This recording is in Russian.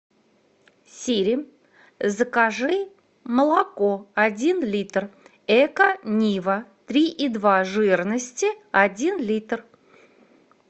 сири закажи молоко один литр эко нива три и два жирности один литр